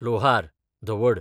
लोहार, धवड